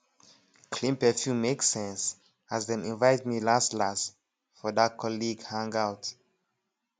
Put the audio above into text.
clean perfume make sense as dem invite me last last for that colleague hangout